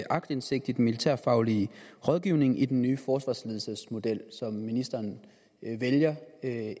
aktindsigt i den militærfaglige rådgivning i den nye forsvarsledelsen som ministeren vælger